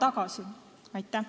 Aitäh!